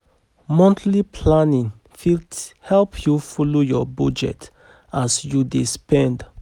Monthly planning fit help yu folo yur bujet as yu dey spend